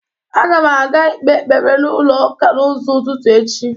Aga m aga ikpe ekpere n'ulọ ụka n'ụzọ ụtụtu echi.